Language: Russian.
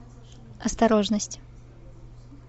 осторожность